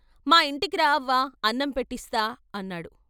"మా ఇంటికి రా అవ్వా అన్నం పెట్టిస్తా " అన్నాడు.